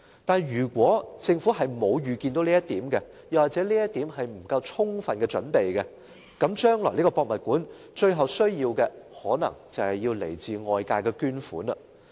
但是，如果政府沒有預見這一點或未就此作充分準備，故宮館最終可能需要來自外界的捐款。